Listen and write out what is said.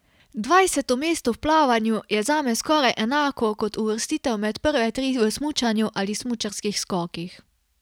Dvajseto mesto v plavanju je zame skoraj enako kot uvrstitev med prve tri v smučanju ali smučarskih skokih.